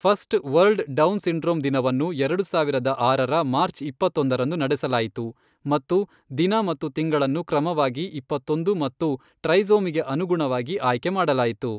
First world Down syndrome ದಿನವನ್ನು ಎರಡು ಸಾವಿರದ ಆರರ ಮಾರ್ಚ್ ಇಪ್ಪತ್ತೊಂದರಂದು ನಡೆಸಲಾಯಿತು ಮತ್ತು ದಿನ ಮತ್ತು ತಿಂಗಳನ್ನು ಕ್ರಮವಾಗಿ ಇಪ್ಪತ್ತೊಂದು ಮತ್ತು ಟ್ರೈಸೋಮಿಗೆ ಅನುಗುಣವಾಗಿ ಆಯ್ಕೆ ಮಾಡಲಾಯಿತು.